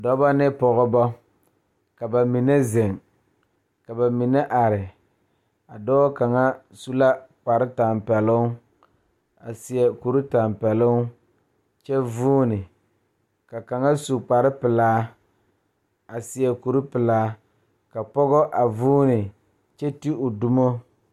Dɔɔba ne pɔgeba la kaa dɔɔ kaŋa a are a su kpare pelaa kaa Yiri a die dankyini are kaa kolbaare a dɔgle tabol su kpare pelaa a kuri pelaa.